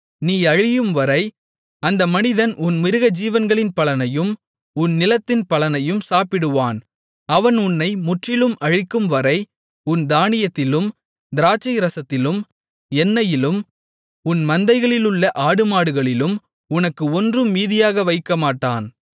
நீ அழியும்வரை அந்த மனிதன் உன் மிருகஜீவன்களின் பலனையும் உன் நிலத்தின் பலனையும் சாப்பிடுவான் அவன் உன்னை முற்றிலும் அழிக்கும்வரை உன் தானியத்திலும் திராட்சைரசத்திலும் எண்ணெயிலும் உன் மந்தைகளிலுள்ள ஆடுமாடுகளிலும் உனக்கு ஒன்றும் மீதியாக வைக்கமாட்டான்